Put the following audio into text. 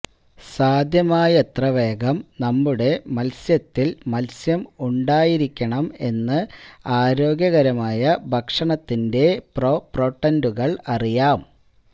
സാധ്യമായത്ര വേഗം നമ്മുടെ മത്സ്യത്തിൽ മത്സ്യം ഉണ്ടായിരിക്കണം എന്ന് ആരോഗ്യകരമായ ഭക്ഷണത്തിന്റെ പ്രോപോട്ടന്റുകൾ അറിയാം